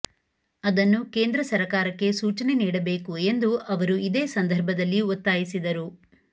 ಅದನ್ನು ಕೇಂದ್ರ ಸರಕಾರಕ್ಕೆ ಸೂಚನೆ ನೀಡಬೇಕು ಎಂದು ಅವರು ಇದೇ ಸಂದರ್ಭದಲ್ಲಿ ಒತ್ತಾಯಿಸಿದರು